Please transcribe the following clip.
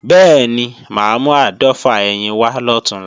Bẹ́ẹ̀ni, mà á mú áàdọ́fà ẹyin wá lọ̀túnla